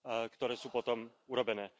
ktoré sú potom urobené.